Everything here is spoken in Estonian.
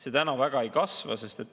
See täna väga ei kasva.